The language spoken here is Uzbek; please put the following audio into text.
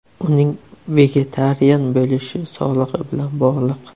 Uning vegetarian bo‘lishi sog‘ligi bilan bog‘liq.